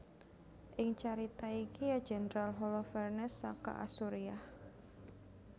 Ing carita iki ya jendral Holofernes saka Asuriah